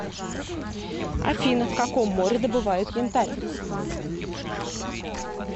афина в каком море добывают янтарь